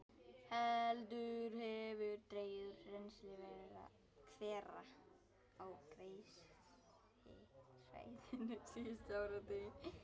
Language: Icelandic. Heldur hefur dregið úr rennsli hvera á Geysissvæðinu síðustu áratugi.